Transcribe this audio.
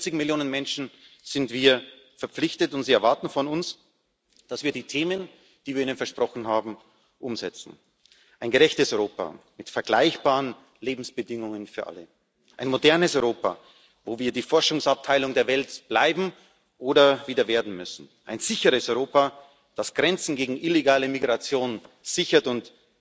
Diesen 40 Millionen Menschen sind wir verpflichtet, und sie erwarten von uns, dass wir die Themen, die wir ihnen versprochen haben, umsetzen ein gerechtes Europa mit vergleichbaren Lebensbedingungen für alle, ein modernes Europa, wo wir die Forschungsabteilung der Welt bleiben oder wieder werden müssen, ein sicheres Europa, das Grenzen gegen illegale Migration sichert und